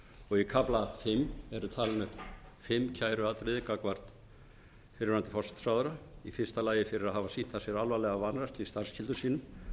og í kafla fimm eru talin upp fimm kæruatriði gagnvart fyrrverandi forsætisráðherra fyrstu fyrir að hafa sýnt af sér alvarlega vanrækslu í starfsskyldum sínum